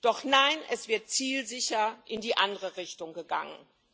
Doch nein, es wird zielsicher in die andere Richtung gegangen.